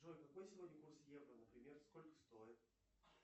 джой какой сегодня курс евро например сколько стоит